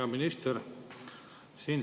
Hea minister!